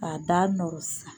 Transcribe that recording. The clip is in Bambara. K'a da nɔrɔ sisan.